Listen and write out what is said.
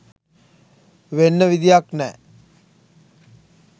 වෙන්න විදිහක් නෑ.